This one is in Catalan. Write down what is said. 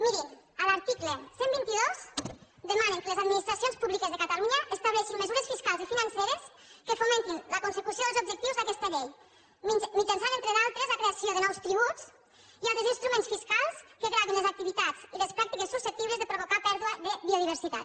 mirin a l’article cent i vint dos demanen que les administracions públiques de catalunya estableixin mesures fiscals i financeres que fomentin la consecució dels objectius d’aquesta llei mitjançant entre d’altres la creació de nous tributs i altres instruments fiscals que gravin les activitats i les pràctiques susceptibles de provocar pèrdua de biodiversitat